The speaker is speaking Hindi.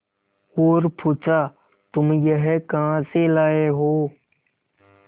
और पुछा तुम यह कहा से लाये हो